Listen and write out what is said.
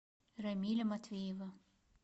рамиля матвеева